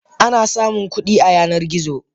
Ana samun kudi a Yanar gizo.